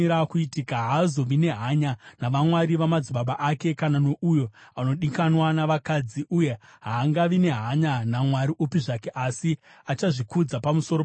Haazovi nehanya navamwari vamadzibaba ake kana nouyo anodikanwa navakadzi, uye haangavi nehanya namwari upi zvake, asi achazvikudza pamusoro pavo vose.